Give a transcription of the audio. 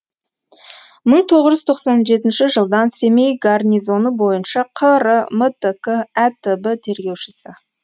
мың тоғыз жүз тоқсан жетінші жылдан семей гарнизоны бойынша қр мтк әтб тергеушісі